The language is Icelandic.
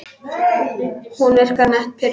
Hún virkar nett pirruð.